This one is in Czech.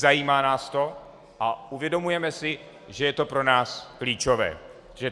Zajímá nás to a uvědomujeme si, že je to pro nás klíčové.